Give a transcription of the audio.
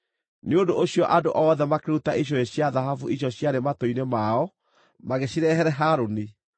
Nĩ ũndũ ũcio andũ othe makĩruta icũhĩ cia thahabu icio ciarĩ matũ-inĩ mao magĩcirehere Harũni.